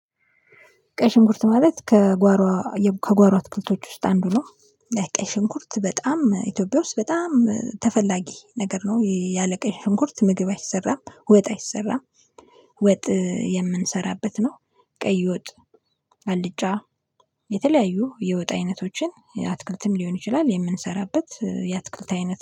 ቀይ ሽንኩርት ማለት ከጓሮ ከጓሮ አትክልቶች ውስጥ አንዱ ነው። ቀይ ሽንኩርት በጣም ኢትዮጵያ ውስጥ በጣም ተፈላጊ ነገር ነው። ያለ ቀይ ሽንኩርት ምግብ አይሰራም፣ ወጥ አይሰራም። ወጥ የምንሰራበት ነው ቀይ ወጥ፣ አልጫ የተለያዩ የወጥ አይነቶችን አትክልትም ሊሆን ይችላል የምንሰራበት የአትክልት አይነት